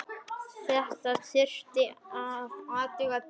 Þetta þurfti að athuga betur.